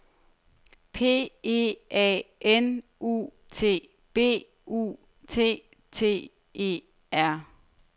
P E A N U T B U T T E R